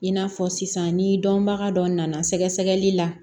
I n'a fɔ sisan ni dɔnbaga dɔ nana sɛgɛsɛgɛli la